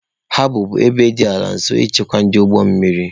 Habọ bụ ebe dị ala nso nchekwa dịrị ụgbọ mmiri.